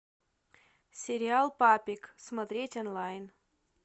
сериал папик смотреть онлайн